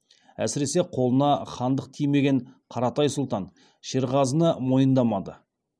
әсіресе қолына хандық тимеген қаратай сұлтан шерғазыны мойындамады